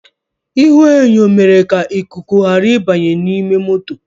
Ihuenyo mere ka ikuku ghara ịbanye n’ime moto